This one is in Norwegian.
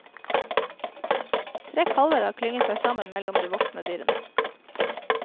Tre kalver har klynget seg sammen mellom de voksne dyrene.